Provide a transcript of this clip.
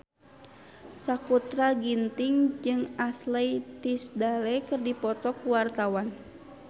Sakutra Ginting jeung Ashley Tisdale keur dipoto ku wartawan